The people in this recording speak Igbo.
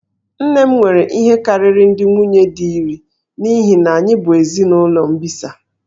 Nne m nwere ihe karịrị ndị nwunye di iri n'ihi na anyị bụ ezinụlọ mbisa